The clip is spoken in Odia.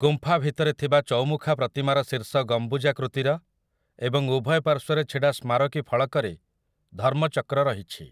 ଗୁମ୍ଫା ଭିତରେ ଥିବା ଚୌମୁଖା ପ୍ରତିମାର ଶୀର୍ଷ ଗମ୍ବୁଜାକୃତିର ଏବଂ ଉଭୟ ପାର୍ଶ୍ୱରେ ଛିଡ଼ା ସ୍ମାରକୀ ଫଳକରେ ଧର୍ମଚକ୍ର ରହିଛି ।